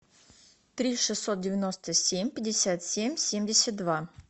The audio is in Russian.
три шестьсот девяносто семь пятьдесят семь семьдесят два